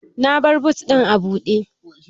Na bar but ɗin a buɗe